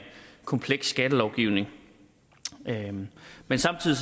kompleks skattelovgivning men samtidig